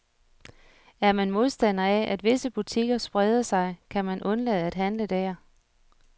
Er man modstander af, at visse butikker spreder sig, kan man undlade at handle der.